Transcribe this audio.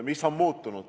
Mis on muutunud?